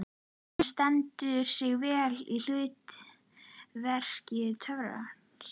Hann stendur sig vel í hlut verki töffarans.